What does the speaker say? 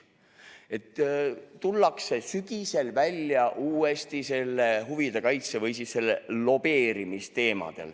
Sügisel tullakse uuesti välja selle huvide kaitse või lobeerimise teemaga.